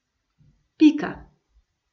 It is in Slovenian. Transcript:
Pika.